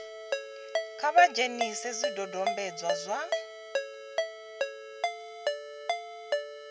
kha vha dzhenise zwidodombedzwa zwa